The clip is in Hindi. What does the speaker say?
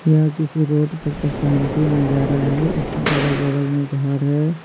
यह किसी रोड पर का शांति नजारा है इसमें अगल-बगल में घर है।